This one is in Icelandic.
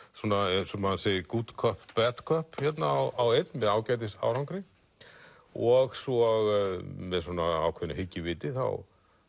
eins og maður segir good cop bad cop á einn með ágætis árangri og svo með svona ákveðnu hyggjuviti þá